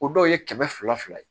O dɔw ye kɛmɛ fila fila ye